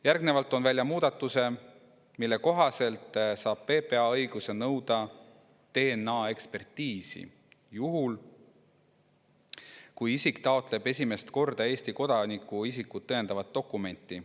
Järgnevalt toon välja muudatuse, mille kohaselt saab PPA õiguse nõuda DNA‑ekspertiisi juhul, kui isik taotleb esimest korda Eesti kodaniku isikut tõendavat dokumenti.